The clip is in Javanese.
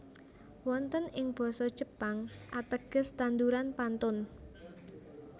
Wonten ing Basa Jepang ateges tanduran pantun